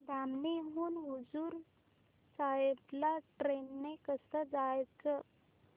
धामणी हून हुजूर साहेब ला ट्रेन ने कसं जायचं